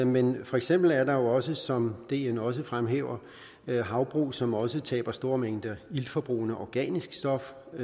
men for eksempel er der jo også som dn også fremhæver havbrug som også taber store mængder iltforbrugende organisk stof og